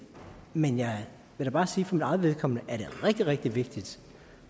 men jeg vil bare sige for mit eget vedkommende at det er rigtig rigtig vigtigt